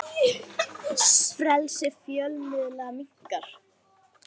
Níu komnir upp úr námunni